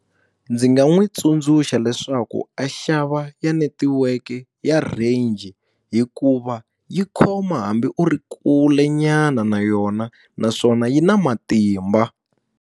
Ndzi nga n'wi tsundzuxa leswaku a xava ya netiweke ya range, hikuva yi khoma hambi u ri kulenyana na yona naswona yi na matimba.